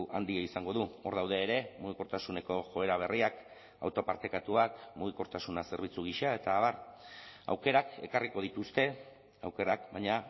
handia izango du hor daude ere mugikortasuneko joera berriak auto partekatuak mugikortasuna zerbitzu gisa eta abar aukerak ekarriko dituzte aukerak baina